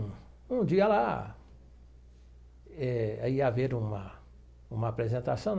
Um dia lá eh aí ia haver uma uma apresentação.